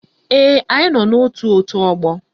Ee, anyị nọ n'ótù òtú ọgbọ